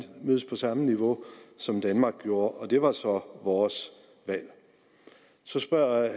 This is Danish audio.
mødes på samme niveau som danmark gjorde og det var så vores valg så spørger